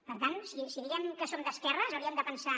per tant si diem que som d’esquerres hauríem de pensar